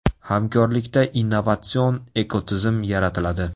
Hamkorlikda innovatsion ekotizim yaratiladi.